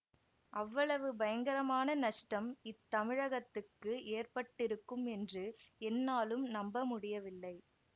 அவ்வளவு பயங்கரமான நஷ்டம் இத்தமிழகத்துக்கு ஏற்பட்டிருக்கும் என்று என்னாலும் நம்ப முடியவில்லை